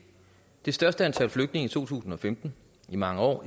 det største antal flygtninge i to tusind og femten i mange år